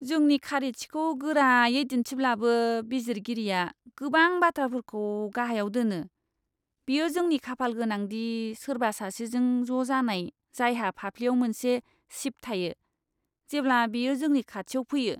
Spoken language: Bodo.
जोंनि खारिथिखौ गोरायै दिन्थिब्लाबो, बिजिरगिरिया गोबां बाथ्राफोरखौ गाहायाव दोनो। बेयो जोंनि खाफालगोनां दि सोरबा सासेजों ज' जानाय जायहा फाफ्लिआव मोनसे चिप थायो, जेब्ला बेयो जोंनि खाथियाव फैयो।